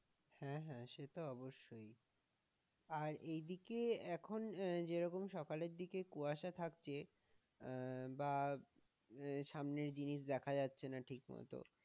হ্যাঁ হ্যাঁ সেটা অবশ্যই, আর এইদিকে এখন আহ যেরকম সকালের দিকে কুয়াশা থাকছে আহ বা সামনে জিনিস দেখা যাচ্ছে না ঠিকমত